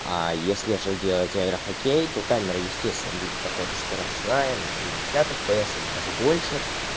а если же делать аэрохоккей то камера естественно будет какая-то скоростная на шестьдесят фпс или даже больше